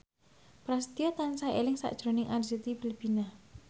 Prasetyo tansah eling sakjroning Arzetti Bilbina